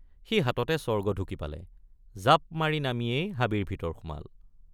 সি হাততে স্বৰ্গ ঢুকি পালে জাপমাৰি নামিয়েই হাবিৰ ভিতৰ সোমাল।